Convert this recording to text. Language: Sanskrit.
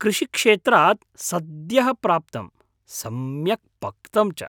कृषिक्षेत्रात् सद्यःप्राप्तं, सम्यक् पक्तं च।